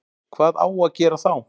Hvað á að gera þá?